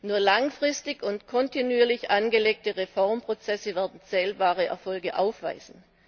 Nur langfristig und kontinuierlich angelegte Reformprozesse werden zählbare Erfolge aufweisen.